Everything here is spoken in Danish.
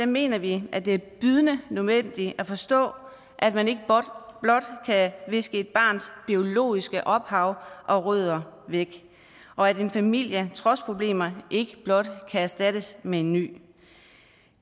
mener vi at det er bydende nødvendigt at forstå at man ikke blot kan viske et barns biologiske ophav og rødder væk og at en familie trods problemer ikke blot kan erstattes med en ny